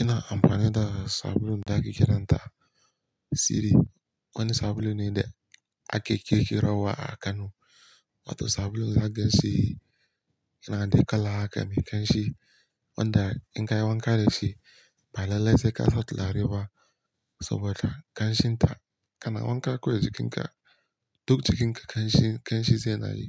Ina amfani da sabulun da ake kiranta siri. Wani sabulu ne da ake kirkirowa a Kano. Wato sabulun za ka ganshi yana da kala aka mai kanshi, wanda in ka yi wanka da shi, baya lasewa ka, tsohuwa ta ganshin ta. Kana wanka kawai jikinka, duk jikinka kanshi, kanshi ze na yi